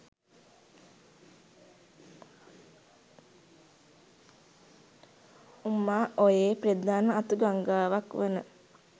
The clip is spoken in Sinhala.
උමා ඔයේ ප්‍රධාන අතු ගංගාවක් වන